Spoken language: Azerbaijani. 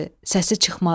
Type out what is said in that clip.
Səsi çıxmadı.